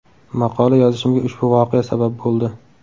Maqola yozishimga ushbu voqea sabab bo‘ldi.